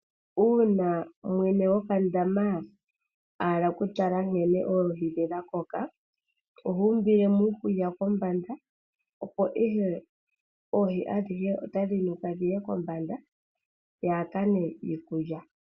Uuna mwene gokandama a hala ku tala nkene oohi dhe dha koka, oha umbile mo uukulya kombanda, opo ihe oohi adhihe otadhi nukile kombanda dhi hakane iikulya.